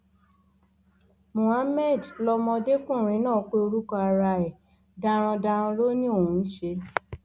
mohammed lọmọdékùnrin náà pé orúkọ ara ẹ darandaran ló ní òun ń ṣe